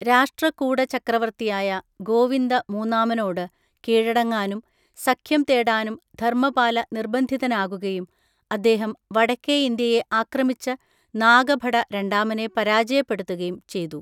രാഷ്ട്രകൂട ചക്രവർത്തിയായ ഗോവിന്ദ മൂന്നാമനോട്‌ കീഴടങ്ങാനും, സഖ്യം തേടാനും ധർമ്മപാല നിർബന്ധിതനാകുകയും, അദ്ദേഹം വടക്കേ ഇന്ത്യയെ ആക്രമിച്ച് നാഗഭട രണ്ടാമനെ പരാജയപ്പെടുത്തുകയും ചെയ്തു.